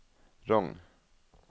Rong